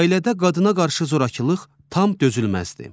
Ailədə qadına qarşı zorakılıq tam dözülməzdir.